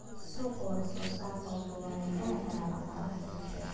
Suuqa wax-soo-saarku wuxuu wanaajin karaa dhaqaalaha bulshada.